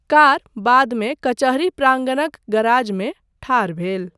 Car बादमे कचहरी प्राङ्गणक गराजमे ठाढ़ भेटल।